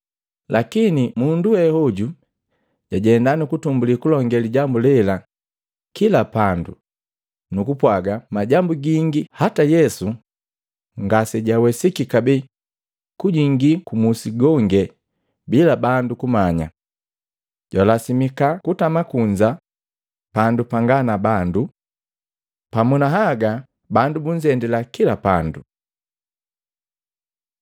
Lakini mundu weoju jajenda, nukutumbuli kulongee lijambu lela, kila pandu, nukupwaga majambu gingi hata Yesu ngasijawesiki kabee kujingi kumusi gonge bila bandu kumanya. Jwalasimika kutama kunza pandu pangaa na bandu. Pamu na haga bandu bunzendila kila pandu.